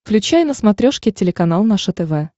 включай на смотрешке телеканал наше тв